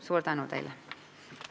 Suur tänu teile!